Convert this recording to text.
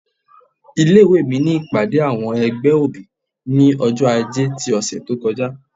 ilé ìwé mí ní ìpàdé awọn ẹgbẹ́ obí, ní ọjọ-ajé tí òsé tó kọjá